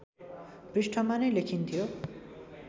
पृष्ठमा नै लेखिन्थ्यो